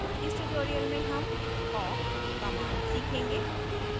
इस tutorial में हम awk command सीखेंगे